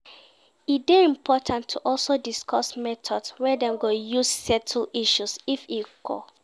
E de important to also discuss methods wey Dem go use settle issues if e occur